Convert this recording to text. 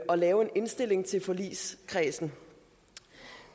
og lave en indstilling til forligskredsen